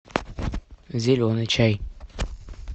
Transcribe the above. зеленый чай